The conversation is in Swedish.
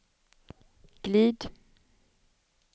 glid